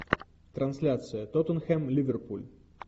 трансляция тоттенхэм ливерпуль